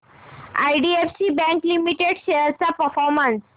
IDFC bank limited shares चा performance